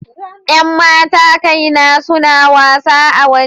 Yan matakai na suna wasa a waje.